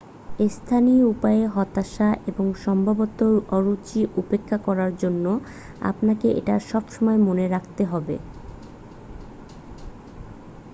স্থানীয় উপায়ে হতাশা এবং সম্ভবত অরুচি উপেক্ষা করার জন্য আপনাকে এটা সবসময় মনে রাখতে হবে